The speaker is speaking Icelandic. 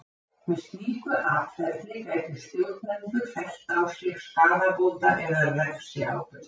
Með slíku atferli gætu stjórnendur fellt á sig skaðabóta- eða refsiábyrgð.